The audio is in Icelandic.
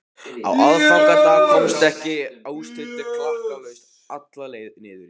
Á aðfangadag komst hann óstuddur klakklaust alla leið niður í